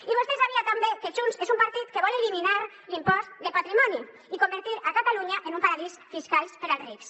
i vostè sabia també que junts és un partit que vol eliminar l’impost de patrimoni i convertir catalunya en un paradís fiscal per als rics